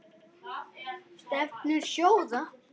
Stefnur sjóða